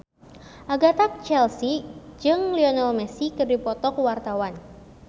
Agatha Chelsea jeung Lionel Messi keur dipoto ku wartawan